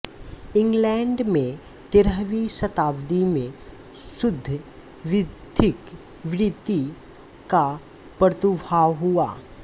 England में तेरहवीं शताब्दी में शुद्ध विधिक वृत्ति का प्रादुर्भाव हुआ